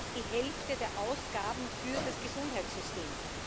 Das ist fast die Hälfte der Ausgaben für das Gesundheitssystem.